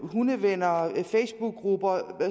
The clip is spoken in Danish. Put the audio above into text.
hundevenner facebookgrupper